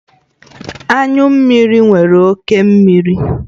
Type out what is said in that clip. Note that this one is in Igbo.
Anyụ mmiri nwere oke mmiri